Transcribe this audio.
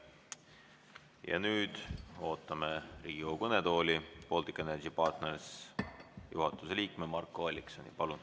Ja nüüd ootame Riigikogu kõnetooli Baltic Energy Partners OÜ juhatuse liiget Marko Alliksoni.